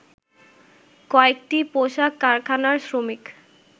কয়েকটি পোশাক কারখানার শ্রমিক